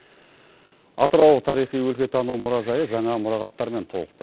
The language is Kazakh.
атырау тарихи өлкетану мұражайы жаңа мұрағаттармен толықты